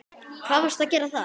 Hvað varstu að gera þar?